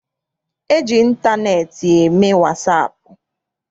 E ji ịntaneetị eme wasaapụ.